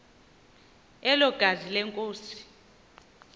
elo gazi lenkosi